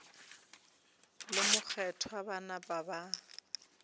le mokgethwa ba napa ba